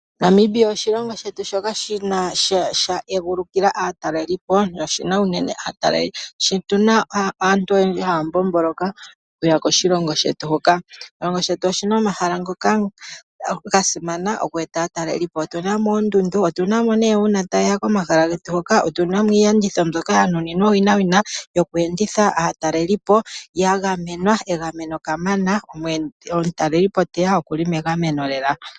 Namibia oshilongo shetu shoka sha egulukila aateleli po, noshi na aantu oyendji haya mbomboloka okuya koshilongo shetu huka. Oshilongo shetu oshi na omahala ngoka ga simana oku eta aataleli po. Otu na mo oondundu, otu na mo nee uuna taye ya komahala getu hoka, otu na mo iiyenditho mbyoka ya nuninwa owinawina yoku enditha aataleli po, ya gamwenwa egameno kamana. Omutaleli po teya okuli megameno lela.